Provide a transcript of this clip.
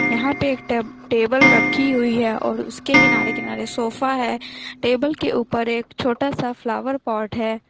यहाँ पे एक टेब टेबल रखी हुई है और उसके किनारे किनारे सोफा है टेबल के ऊपर एक छोटा सा फ्लावर पोट है।